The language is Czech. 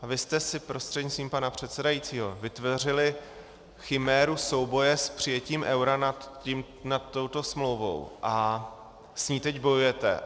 A vy jste si prostřednictvím pana předsedajícího vytvořili chiméru souboje s přijetím eura nad touto smlouvou a s ní teď bojujete.